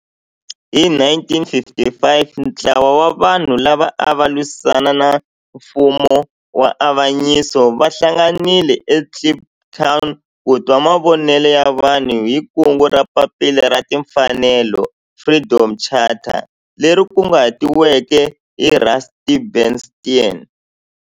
Hi 1955 ntlawa wa vanhu lava ava lwisana na nfumo wa avanyiso va hlanganile eKliptown ku twa mavonelo ya vanhu hi kungu ra Papila ra Tinfanelo, Freedom Charter leri kunguhatiweke hi Rusty Bernstein.